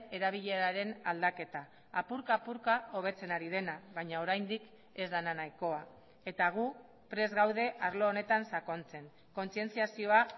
erabileraren aldaketa apurka apurka hobetzen ari dena baina oraindik ez dena nahikoa eta gu prest gaude arlo honetan sakontzen kontzientziazioa